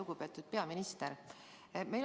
Lugupeetud peaminister!